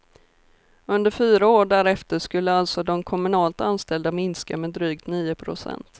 Under fyra år därefter skulle alltså de kommunalt anställda minska med drygt nio procent.